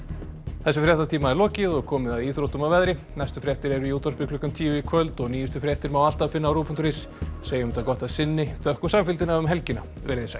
þessum fréttatíma er lokið og komið að íþróttum og veðri næstu fréttir eru í útvarpi klukkan tíu í kvöld og nýjustu fréttir má alltaf finna á RÚV punktur is en segjum þetta gott að sinni þökkum samfylgdina um helgina veriði sæl